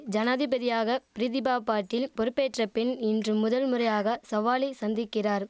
ஜனாதிபதியாக பிரிதிபா பாட்டீல் பொறுப்பேற்ற பின் இன்று முதல் முறையாக சவாலை சந்திக்கிறார்